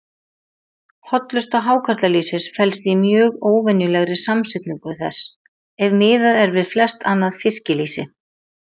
Hollusta hákarlalýsis felst í mjög óvenjulegri samsetningu þess, ef miðað er við flest annað fiskilýsi.